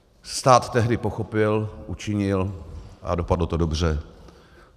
Stát tehdy pochopil, učinil a dopadlo to dobře.